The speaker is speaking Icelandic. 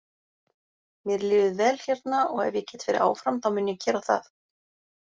Mér líður vel hérna og ef ég get verið áfram þá mun ég gera það.